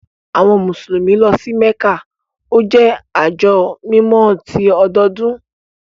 Àwọn Musulumi lọ sí Mekka, o jẹ ajo mímọ̀ tì ọdọọdun.